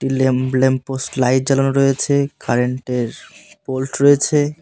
Lamb-lamp post light জ্বালানো রয়েছে current -এর পোল্ট রয়েছে।